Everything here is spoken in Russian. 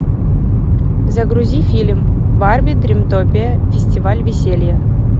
загрузи фильм барби дримтопия фестиваль веселья